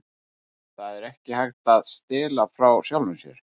Það er ekki hægt að stela frá sjálfum sér.